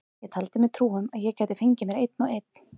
Ég taldi mér trú um að ég gæti fengið mér einn og einn.